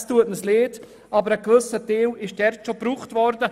Es tut uns leid, aber ein gewisser Teil wurde bereits ausgegeben.